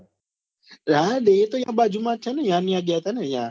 હા એ તો ન્યા બાજુ માં છે યા ને યા ગ્યા ત્યાં ને યા